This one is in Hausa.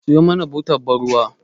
Siyo mana butar ban ruwa